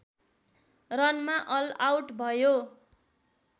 रनमा all out भयो